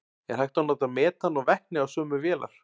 Er hægt að nota metan og vetni á sömu vélar?